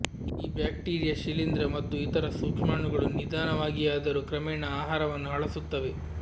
ಈ ಬ್ಯಾಕ್ಟೀರಿಯಾ ಶಿಲೀಂಧ್ರ ಮತ್ತು ಇತರ ಸೂಕ್ಷ್ಮಾಣುಗಳು ನಿಧಾನವಾಗಿಯಾದರೂ ಕ್ರಮೇಣ ಆಹಾರವನ್ನು ಹಳಸುತ್ತವೆ